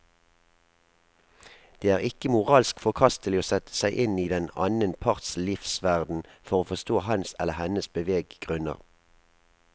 Det er ikke moralsk forkastelig å sette seg inn i den annen parts livsverden for å forstå hans eller hennes beveggrunner.